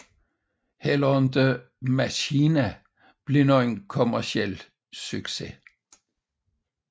Heller ikke MACHINA blev dog nogen kommerciel succes